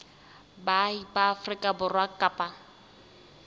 baahi ba afrika borwa kapa